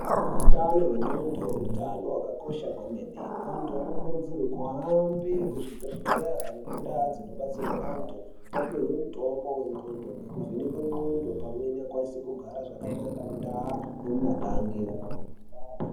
Utano hwendxondo utano hwakakosha kwemene. Antu anokurudzirwe kuhambe kuzvibhedhlera nekuntaa dzinobatsirwe antu, opihwe mitombo yendxondo ngekuvhenekwe ndxondo, pamwe nekwanise kugara zvakanaka, muntaa nemumagange.